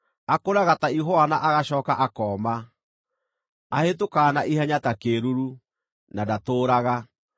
Akũraga ta ihũa na agacooka akooma; ahĩtũkaga na ihenya ta kĩĩruru, na ndatũũraga.